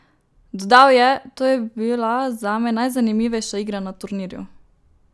Dodal je: "To je bila zame najzanimivejša igra na turnirju.